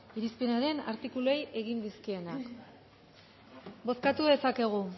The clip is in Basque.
irizpenaren artikuluei egin dizkienak